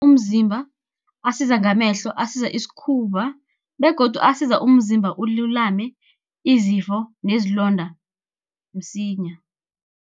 Umzimba asiza ngamehlo, asiza isikhumba, begodu asiza umzimba ululame izifo nezilonda msinya.